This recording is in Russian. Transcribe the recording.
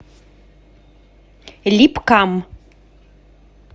липкам